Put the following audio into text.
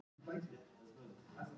Ekki hún Ása!